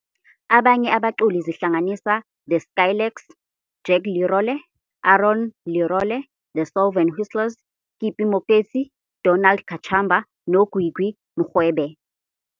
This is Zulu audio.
Abanye abaculi zihlanganisa The Skylarks, Jack Lerole, Aaron Lerole, The Solven Whistlers, Kippie Moeketsi, Donald Kachamba noGwigwi Mrwebe.